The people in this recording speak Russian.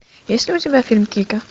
есть ли у тебя фильм кика